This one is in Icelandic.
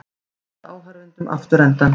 Sýndi áhorfendum afturendann